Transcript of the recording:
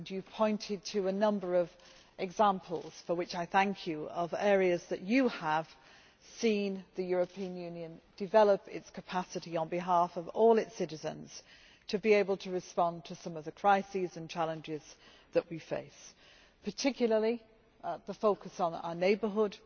You pointed to a number of examples for which I thank you of areas where you have seen the European Union develop its capacity, on behalf of all its citizens, to be able to respond to some of the crises and challenges that we face, particularly those that focus on our neighbourhood